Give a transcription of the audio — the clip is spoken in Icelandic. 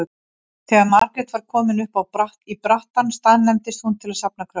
Þegar Margrét var komin upp í brattann staðnæmdist hún til að safna kröftum.